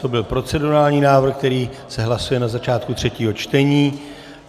To byl procedurální návrh, který se hlasuje na začátku třetího čtení.